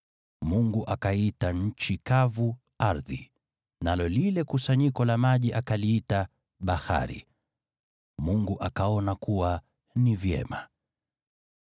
Mungu akaiita nchi kavu “ardhi,” nalo lile kusanyiko la maji akaliita “bahari.” Mungu akaona kuwa ni vyema.